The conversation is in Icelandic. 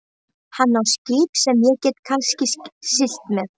Hann á skip sem ég get kannski siglt með.